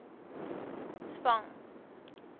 spang